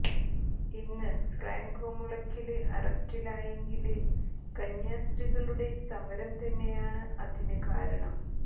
ഇന്ന് ഫ്രാങ്കോ മുളയ്ക്കല് അറസ്റ്റിലായെങ്കില് കന്യാസ്ത്രീകളുടെ സമരം തന്നെയാണ് അതിന് കാരണം